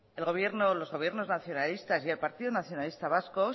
los gobiernos nacionalistas y el partido nacionalista vasco